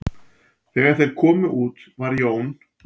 Þegar þeir komu út var Jón